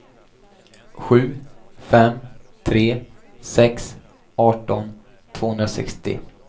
sju fem tre sex arton tvåhundrasextio